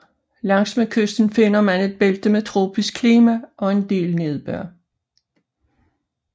Langs med kysten finder man et bælte med tropisk klima og en del nedbør